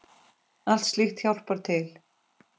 Allt slíkt hjálpar til.